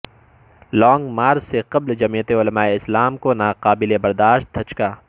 long march سے قبل جمعیت علمائے اسلام کو ناقبل برداشت دھچکا